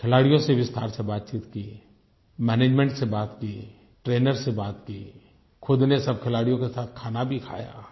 खिलाड़ियों से विस्तार से बातचीत की मैनेजमेंट से बात की ट्रेनर से बात की खुद ने सब खिलाड़ियों के साथ खाना भी खाया